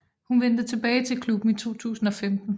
Hun vendte tilbage til klubben i 2015